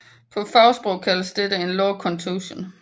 På fagsprog kaldes dette en lårkontusion